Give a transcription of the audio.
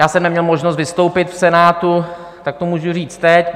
Já jsem neměl možnost vystoupit v Senátu, tak to můžu říct teď.